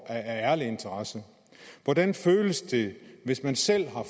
af ærlig interesse hvordan føles det hvis man selv har